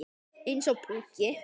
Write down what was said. Eins og púki.